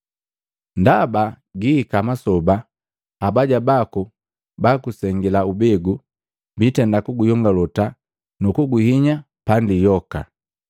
Ndaba gihika masoba, abaya baku bagusengila ubegu, biitenda kuguyongolota nu kukuhinya pandi yoka.